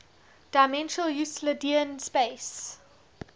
dimensional euclidean space